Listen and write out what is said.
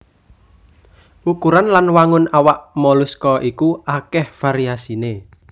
Ukuran lan wangun awak moluska iku akèh variasiné